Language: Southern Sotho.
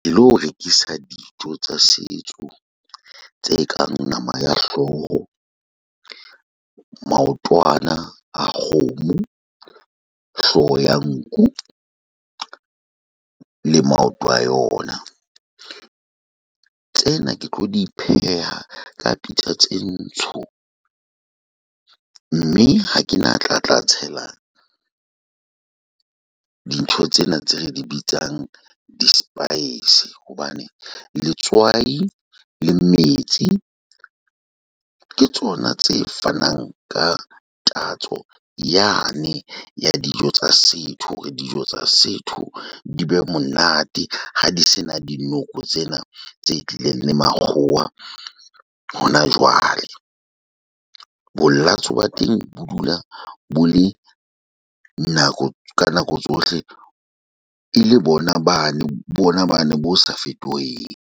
Ke lo rekisa dijo tsa setso tse kang nama ya hlooho, maotwana a kgomo, hlooho ya nku le maoto a yona. Tsena ke tlo di pheha ka pitsa tse ntho, mme ha ke na tla tla tshela di ntho tsena tse re di bitsang di spice. Hobane letswai le metsi ke tsona tse fanang ka tatso yane ya dijo tsa setho hore dijo tsa setho di be monate ha di se na di noko tsena tse tlileng le makgowa hona jwale. Monate wa teng bo dula bo le nako ka nako tsohle e le bona bane bona bane bo sa fetoheng.